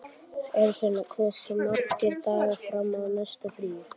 Eirfinna, hversu margir dagar fram að næsta fríi?